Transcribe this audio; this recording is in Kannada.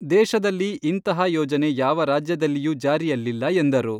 ದೇಶದಲ್ಲಿ ಇಂತಹ ಯೋಜನೆ ಯಾವ ರಾಜ್ಯದಲ್ಲಿಯೂ ಜಾರಿಯಲ್ಲಿಲ್ಲ ಎಂದರು.